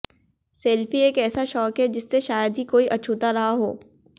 selfie एक ऐसा शौक है जिससे शायद ही कोई अछूता रहा हो